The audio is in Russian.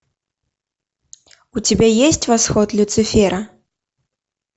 у тебя есть восход люцифера